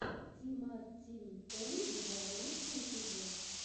ти мар тин эн два лучший эпизод